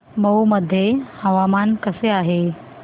मौ मध्ये हवामान कसे आहे